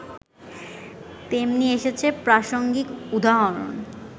তেমনি এসেছে প্রাসঙ্গিক উদাহরণ